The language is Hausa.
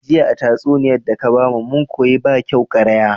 Jiya a tatsuniyar daka bamu mun koyi bakyau ƙaraya